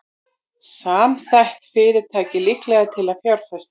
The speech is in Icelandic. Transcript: Samþætt fyrirtæki líklegra til að fjárfesta